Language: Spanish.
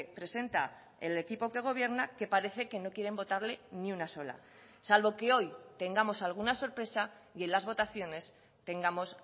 presenta el equipo que gobierna que parece que no quieren votarle ni una sola salvo que hoy tengamos alguna sorpresa y en las votaciones tengamos